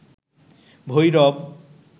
Bhairab